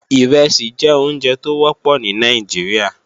Ìrẹsì jẹ́ oúnjẹ tó wọ́pọ̀ ní Nàìjíríà